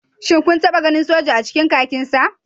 Shin kun taba ganin soja a cikin kakinsa?